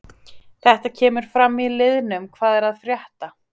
Þetta kemur fram í liðnum hvað er að frétta?